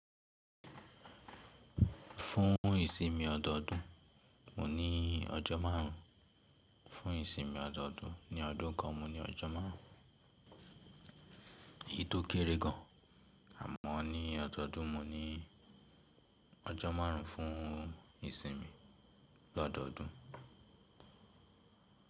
Fún ìsinmi ọdọọdún, mo ní ọjọ́ márùn-ún. Fún ìsinmi ọdọọdún ní ọdún kan, mo ní ọjọ́ márùn-ún. Èyí tó kéré gan-an, àmọ́ ní ọdọọdún mo ní ọjọ́ márùn-ún fún ìsinmi lọ́dọọdún.